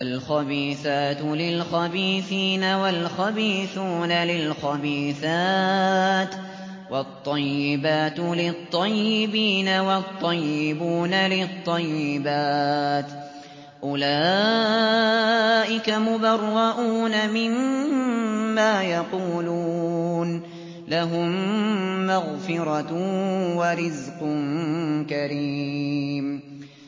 الْخَبِيثَاتُ لِلْخَبِيثِينَ وَالْخَبِيثُونَ لِلْخَبِيثَاتِ ۖ وَالطَّيِّبَاتُ لِلطَّيِّبِينَ وَالطَّيِّبُونَ لِلطَّيِّبَاتِ ۚ أُولَٰئِكَ مُبَرَّءُونَ مِمَّا يَقُولُونَ ۖ لَهُم مَّغْفِرَةٌ وَرِزْقٌ كَرِيمٌ